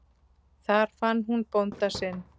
Þar fann hún bónda sinn.